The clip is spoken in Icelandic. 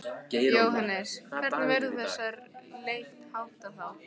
Jóhannes: Hvernig verður þessari leit háttað þá?